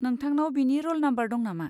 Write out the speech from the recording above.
नोंथांनाव बिनि र'ल नाम्बार दं नामा?